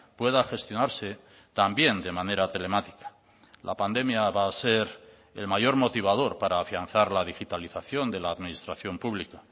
pueda gestionarse también de manera telemática la pandemia va a ser el mayor motivador para afianzar la digitalización de la administración pública